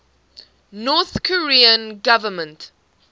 north korean government